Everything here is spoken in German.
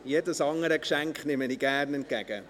Jedes andere Geschenk nehme ich gerne entgegen.